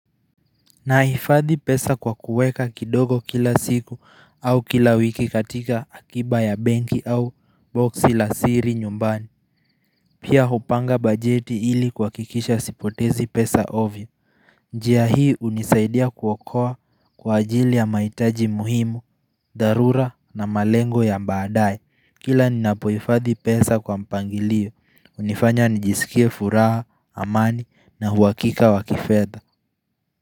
Nahifadhi pesa kwa kuweka kidogo kila siku au kila wiki katika akiba ya banki au boxi la siri nyumbani Pia hupanga bajeti ili kuhakikisha sipotezi pesa ovyo njia hii unisaidia kuokoa kwa ajili ya mahitaji muhimu, dharura na malengo ya baadaye Kila ninapohifadhi pesa kwa mpangilio, unifanya nijisikie furaha, amani na uhakika wakifedha.